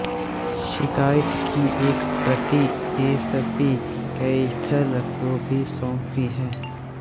शिकायत की एक प्रति एसपी कैथल को भी सौंपी है